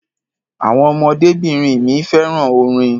Àwọn ọmọdébìnrin mi fẹ́ràn orin.